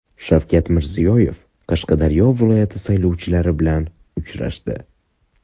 Shavkat Mirziyoyev Qashqadaryo viloyati saylovchilari bilan uchrashdi.